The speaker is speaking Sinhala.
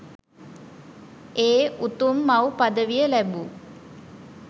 ඒ උතුම් මව් පදවිය ලැබූ